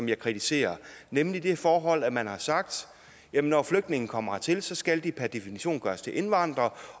jeg kritiserer nemlig det forhold at man har sagt at når flygtninge kommer hertil skal de per definition gøres til indvandrere